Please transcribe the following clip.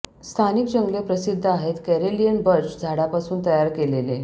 स्थानिक जंगले प्रसिद्ध आहेत करेलियन बर्च झाडापासून तयार केलेले